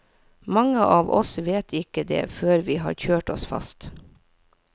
Mange av oss vet ikke det før vi har kjørt oss fast.